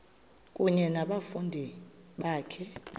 kunye nabafundi bakho